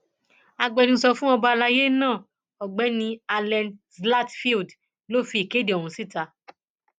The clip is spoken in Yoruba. agbẹnusọ fún ọba alayé náà ọgbẹni allen zlatfield ló fi ìkéde ọhún síta